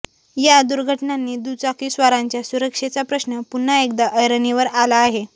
या दुर्घटनांनी दुचाकीस्वारांच्या सुरक्षेचा प्रश्न पुन्हा एकदा ऐरणीवर आला आहे